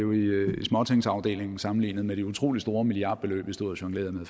småtingsafdelingen sammenlignet med de utrolig store milliardbeløb i stod og jonglerede med